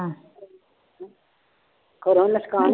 ਘਰੋਂ ਨੁਕਸਾਨ